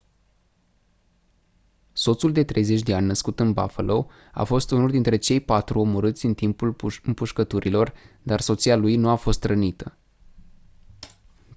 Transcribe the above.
soțul de 30 de ani născut în buffalo a fost unul dintre cei patru omorât în timpul împușcăturilor dar soția lui nu a fost rănită